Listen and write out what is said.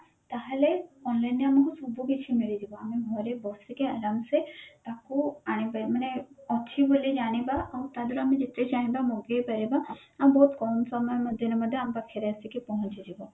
ତାହେଲେ online ଆମକୁ ସବୁକିଛି ମିଳିଯିବ ଆମେ ଘରେ ବସିକି ଆରାମ ସେ ତାକୁ ଆଣି ମାନେ ଅଛି ବୋଲି ଜାଣିବା ଆଉ ତ ଦିଆହରୁ ଯେତେ ଚାହିଁବା ମଗେଇ ପାରିବା ଆଉ ବହୁତ କମ ସମୟ ମଧ୍ୟରେ ମଧ୍ୟ ଆମ ପାଖରେ ଆସିକି ପହଞ୍ଚି ଯିବ